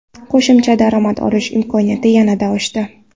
Qo‘shimcha daromad olish imkoniyati yanada oshdi.